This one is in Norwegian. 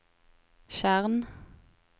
tjern